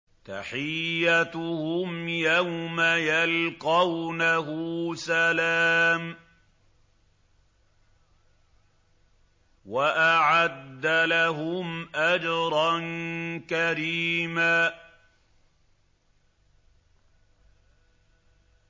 تَحِيَّتُهُمْ يَوْمَ يَلْقَوْنَهُ سَلَامٌ ۚ وَأَعَدَّ لَهُمْ أَجْرًا كَرِيمًا